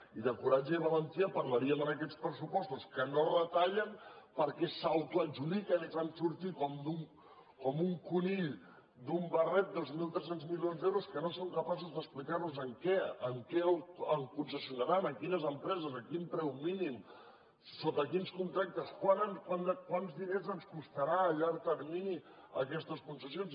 i de coratge i valentia parlaríem en aquests pressupostos que no retallen perquè s’autoadjudiquen i fan sortir com un conill d’un barret dos mil tres cents milions d’euros que no són capaços d’explicar nos en què concessionaran a quines empreses a quin preu mínim sota quins contractes quants diners ens costaran a llarg termini aquestes concessions